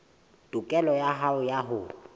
tokelo ya hao ya ho